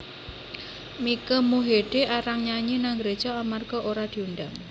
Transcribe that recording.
Mike Mohede arang nyanyi nang gereja amarga ora diundang